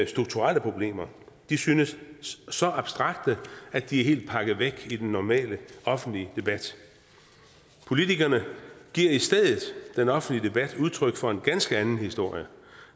strukturelle problemer de synes så abstrakte at de er helt pakket væk i den normale offentlige debat politikerne giver i stedet i den offentlige debat udtryk for en ganske anden historie